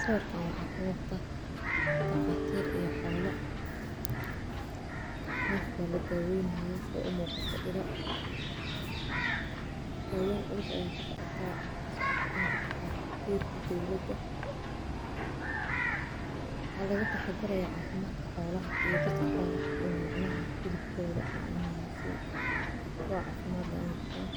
Sababta aan wax ka muuqda taqaatiir ayaa xoolo naefbala daawaynaha sida ay u muuqato ido, daawayn russo ayay ka so cato in kada taageerte dawladda. Hadladda taxaddaraya caafimaadka xoolaha iyo dadka xoolaha cunumecna hilibkooda caano hawo si kuwa caafimaad leh u noqotaan.